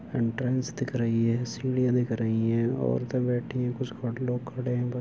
entrance दिख रही है सीढ़ियाँ दिख रहीं हैं औरतें बैठीं हैं कुछ लोग खड़े हैं ब --